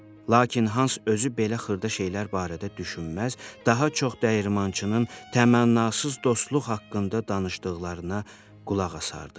Lakin hans özü belə xırda şeylər barədə düşünməz, daha çox dəyirmançının təmənnasız dostluq haqqında danışdıqlarına qulaq asardı.